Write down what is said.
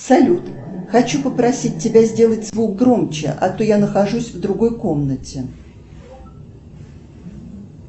салют хочу попросить тебя сделать звук громче а то я нахожусь в другой комнате